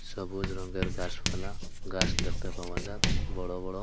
সবুজ রংয়ের গাছপালা গাছ দেখতে পাওয়া যায় বড় বড়।